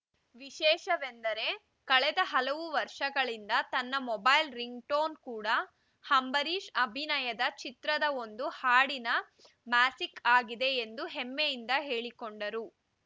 ವಿಶೇಷವೆಂದರೆ ಕಳೆದ ಹಲವು ವರ್ಷಗಳಿಂದ ತನ್ನ ಮೊಬೈಲ್‌ ರಿಂಗ್‌ ಟೋನ್‌ ಕೂಡ ಅಂಬರೀಶ್‌ ಅಭಿನಯದ ಚಿತ್ರದ ಒಂದು ಹಾಡಿನ ಮ್ಯಾಸಿಕ್‌ ಆಗಿದೆ ಎಂದು ಹೆಮ್ಮೆಯಿಂದ ಹೇಳಿಕೊಂಡರು